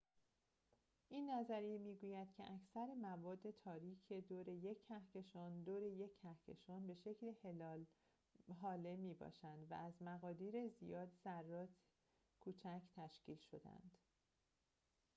این نظریه می‌گوید که اکثر مواد تاریکِ دور یک کهکشان دور یک کهکشان به شکل هاله می‌باشند و از مقادیر زیادی ذرات کوچک تشکیل شده‌اند